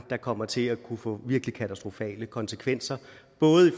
kommer til at kunne få virkelig katastrofale konsekvenser